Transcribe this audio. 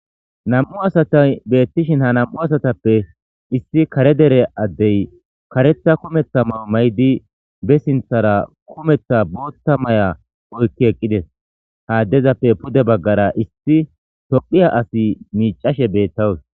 Na'mu asati beetes .Ha nam'u asatappe issi kare dere asi karetha kumetha mayo mayidi be kushen bootha mayo oykidi dizaysa gidishin ha addezappe pude baggara issi Tophiya asi miicashe de'awus.